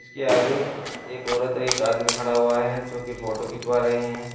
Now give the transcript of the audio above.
के आगे एक औरत एक आदमी खड़ा हुआ है जो की फोटो खिंचवा रहे हैं।